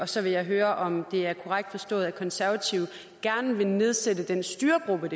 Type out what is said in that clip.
så vil jeg høre om det er korrekt forstået at konservative gerne vil nedsætte den styregruppe